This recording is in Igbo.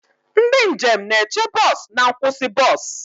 Ndị njem na-eche bọs na nkwụsị bọs.